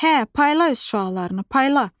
Hə, payla öz şüalarını, payla!